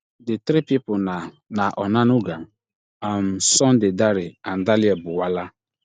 di three pipo na na onanuga um sunday dare and danlie buwala